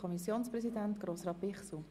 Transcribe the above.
Kommissionspräsident der FiKo.